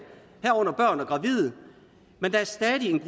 herunder børn og gravide men der er stadig en